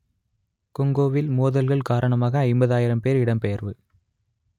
கொங்கோவில் மோதல்கள் காரணமாக ஐம்பதாயிரம் பேர் இடம்பெயர்வு